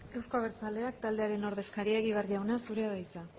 euzko abertzaleak taldearen ordezkaria egibar jauna zurea da hitza